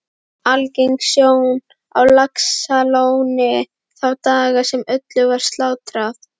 Algeng sjón á Laxalóni þá daga sem öllu var slátrað